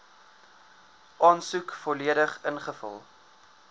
aansoek volledig ingevul